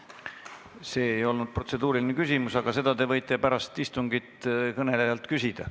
See ei olnud protseduuriline küsimus, aga seda te võite pärast istungit kõnelejalt küsida.